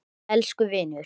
Elsku vinur.